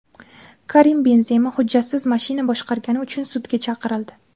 Karim Benzema hujjatsiz mashina boshqargani uchun sudga chaqirildi .